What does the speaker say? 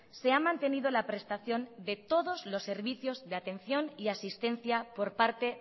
se ha mantenido la prestación de todos los servicios de atención y asistencia por parte